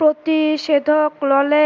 প্ৰতিষেধক ললে